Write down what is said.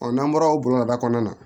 n'an bɔra o bɔgɔdaga kɔnɔna na